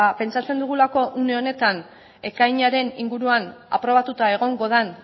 pentsatzen dugulako une honetan ekainaren inguruan aprobatuta egongo den